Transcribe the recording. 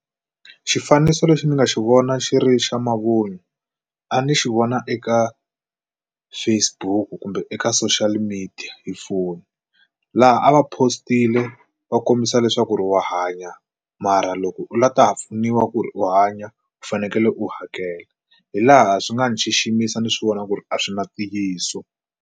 Xifaniso lexi ni nga xi vona xi ri xa mavun'wa a ni xi vona eka Facebook kumbe eka social media hi foni laha a va post-ile wa kombisa leswaku ri wa hanya mara loko u lava ta ha pfuniwa ku ri u hanya u fanekele u hakela hi laha swi nga ni xiximisa ni swi vona ku ri a swi na ntiyiso.